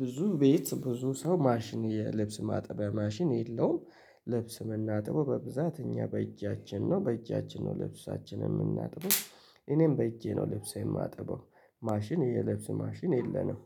ብዙ ቤት ብዙ ሰው ማሽን የልብስ ማጠቢያ ማሽን የለውም። ልብስ ምናጥበው በብዛት እኛ በእጃችን ነው በእጃችን ነው ልብሳችንን የምናጥበው። እኔም በእጄ ነው ልብሴ የማጥበው። ማሽን የልብስ ማሽን የለንም